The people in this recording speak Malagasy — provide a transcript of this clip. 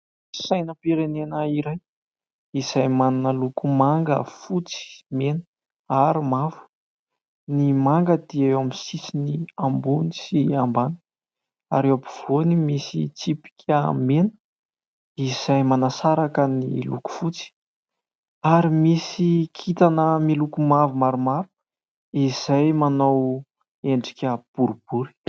Sainam-pirenena iray izay manana loko manga, fotsy, mena ary mavo. Ny manga dia eo amin'ny sisiny ambony sy ambany ary eo ampovoany misy tsipika mena izay manasaraka ny loko fotsy ary misy kintana miloko mavo maromaro izay manao endrika boribory.